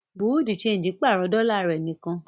Bùréáù de ṣéńjì pàrọ̀ dọ́là rẹ̀ nìkan.